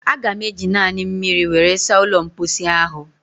Aga m eji naanị mmiri were saa ụlọ mposi ahụ